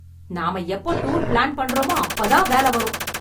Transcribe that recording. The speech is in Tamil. நாம எப்போ டூர் பிளான் பண்ணறோமோ அப்போதான் வேல வரும்.